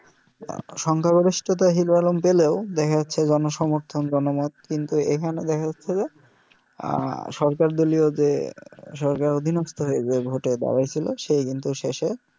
সংখ্যা গরিষ্ঠতা hero alarm পেলেও দেখা যাছে জন সমর্থন জনমত কিন্তু এখানে দেখা যাছে যে সরকার দলিও যে সরকার অধিনস্থ হয়ে যে ভোটে দাড়াইছিল সে কিন্তু শেষে